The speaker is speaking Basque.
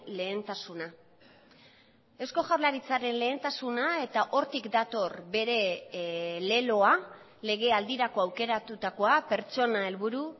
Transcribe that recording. lehentasuna eusko jaurlaritzaren lehentasuna eta hortik dator bere leloa legealdirako aukeratutakoa pertsona helburu